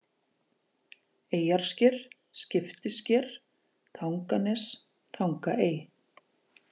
Eyjarsker, Skiptisker, Tanganes, Tangaey